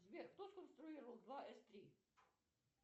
сбер кто сконструировал два эс три